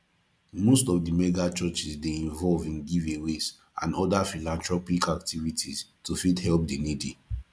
most of the megachurchs dey involve in giveaways and other philanthropic activities to fit help di needy